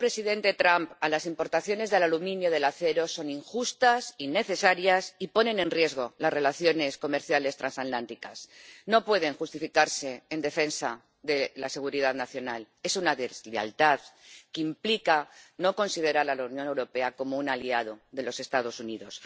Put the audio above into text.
Señor presidente, las medidas del presidente Trump a las importaciones del aluminio y del acero son injustas, innecesarias, y ponen en riesgo las relaciones comerciales transatlánticas. No pueden justificarse en defensa de la seguridad nacional. Es una deslealtad que implica no considerar a la Unión Europea como un aliado de los Estados Unidos.